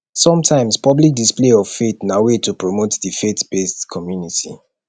sometimes public display of faith na way to promote di faith based community